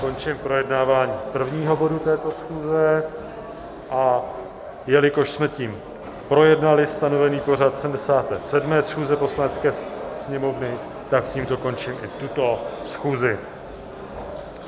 Končím projednávání prvního bodu této schůze a jelikož jsme tím projednali stanovený pořad 77. schůze Poslanecké sněmovny, tak tímto končím i tuto schůzi.